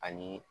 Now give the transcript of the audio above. Ani